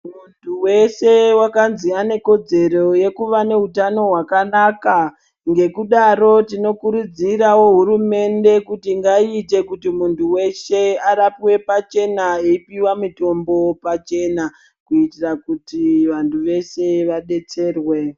Muntu vese vakanzi anekodzero yekuva neutano hwakanaka. Ngekudaro tinokurudziravo hurumbende kuti ngaiite kuti muntu veshe arapwe pachena eipiwa mitombo pachena, kuitira kuti mantu veshe vabetserwe.